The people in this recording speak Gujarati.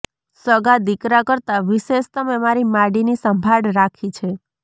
સગા દીકરા કરતા વિશેષ તમે મારી માડીની સંભાળ રાખી છે